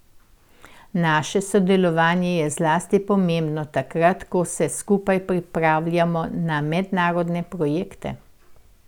Naše sodelovanje je zlasti pomembno takrat, ko se skupaj prijavljamo na mednarodne projekte.